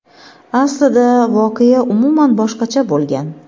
Aslida voqea umuman boshqacha bo‘lgan.